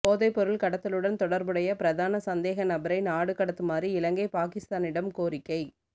போதைப் பொருள் கடத்தலுடன் தொடர்புடைய பிரதான சந்தேக நபரை நாடு கடத்துமாறு இலங்கை பாகிஸ்தானிடம் கோரிக்கை